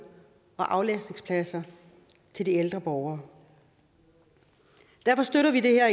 og aflastningspladser til de ældre borgere derfor støtter vi det her